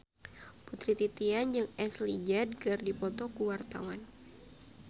Putri Titian jeung Ashley Judd keur dipoto ku wartawan